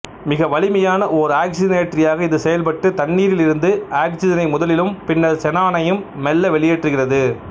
மிகவலிமையான ஒர் ஆக்சிசனேற்றியாக இது செயல்பட்டு தண்ணீரில் இருந்து ஆக்சிசனை முதலிலும் பின்னர் செனானையும் மெல்ல வெளியேற்றுகிறது